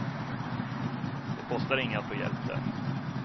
Det kostar inget att få hjälp där.